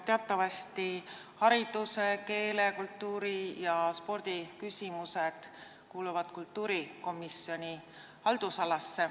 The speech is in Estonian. Teatavasti hariduse-, keele-, kultuuri- ja spordiküsimused kuuluvad kultuurikomisjoni haldusalasse.